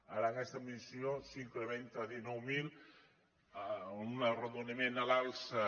ara aquesta missió s’incrementa a dinou mil un arrodoniment a l’alça